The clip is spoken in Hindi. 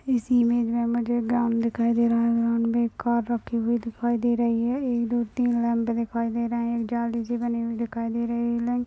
इस इमेज में मुझे ग्राउंड दिखाई दे रहा है ग्राउंड में एक कार रखी हुई दिखाई दे रही एक दो तीन लैंप दिखाई दे रहे है जाली सी बनी दिखाई दे रही है।